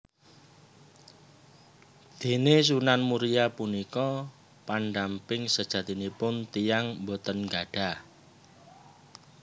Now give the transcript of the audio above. Déné Sunan Muria punika pandamping sejatinipun tiyang boten gadhah